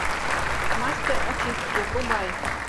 мастер очистки врубай